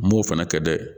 N m'o fana kɛ dɛ